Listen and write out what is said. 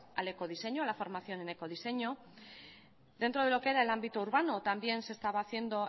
al ecodiseño a la formación en ecodiseño dentro de lo que era el ámbito urbano también se estaba haciendo